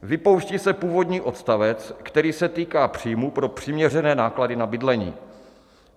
Vypouští se původní odstavec, který se týká příjmů pro přiměřené náklady na bydlení.